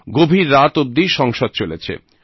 গভীর রাত অবধি সংসদ চলেছে